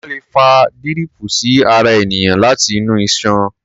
Wọ́́n lè fa díríìpù sí ara ènìyàn láti inú iṣan.